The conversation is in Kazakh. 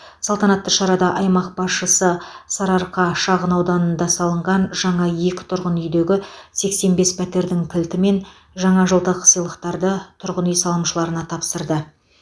салтанатты шарада аймақ басшысы сарыарқа шағын ауданында салынған жаңа екі тұрғын үйдегі сексен бес пәтердің кілті мен жаңажылдық сыйлықтарды тұрғын үй салымшыларына тапсырды